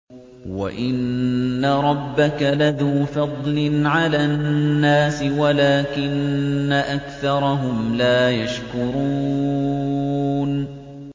وَإِنَّ رَبَّكَ لَذُو فَضْلٍ عَلَى النَّاسِ وَلَٰكِنَّ أَكْثَرَهُمْ لَا يَشْكُرُونَ